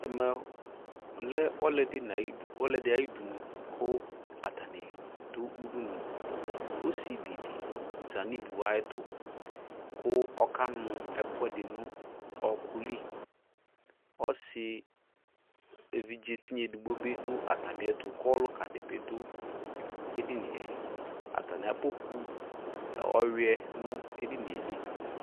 Ɛmɛ lɛ ɔlɛde na yudu, ɔlɔde ayudunuAtane do udunuƆsevi de za no uvu ayeto ko ɔka nu ɛkuɛde no ɔku liƆse evidze tinya edigbo be do atame ɛto ko ɔluka de be do edinieAtame akpɔkpu ɔwiɛ no edinie